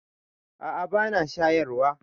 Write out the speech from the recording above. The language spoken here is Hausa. A a ba na shayarwa.